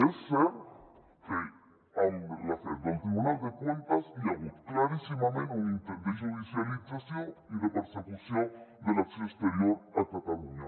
és cert que amb l’afer del tribunal de cuentas hi ha hagut claríssimament un intent de judicialització i de persecució de l’acció exterior a catalunya